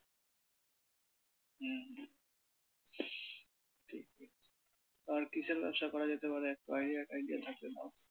হুম ঠিকই। তো আর কিসের ব্যবসা করা যেতে পারে idea টাইডিয়া থাকলে দাও?